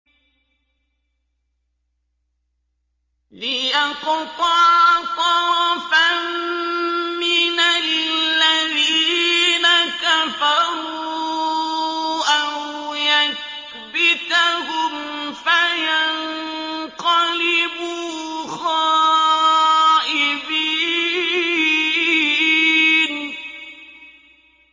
لِيَقْطَعَ طَرَفًا مِّنَ الَّذِينَ كَفَرُوا أَوْ يَكْبِتَهُمْ فَيَنقَلِبُوا خَائِبِينَ